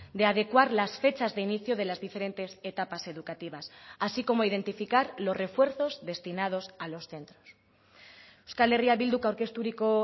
de adecuar las fechas de inicio de las diferentes etapas educativas así como identificar los refuerzos destinados a los centros euskal herria bilduk aurkezturiko